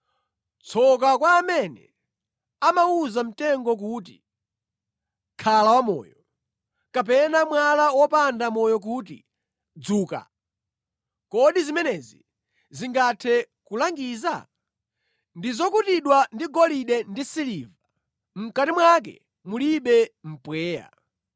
Tsoka kwa amene amawuza mtengo kuti, ‘Khala wamoyo!’ Kapena mwala wopanda moyo kuti, ‘Dzuka!’ Kodi zimenezi zingathe kulangiza? Ndi zokutidwa ndi golide ndi siliva; mʼkati mwake mulibe mpweya.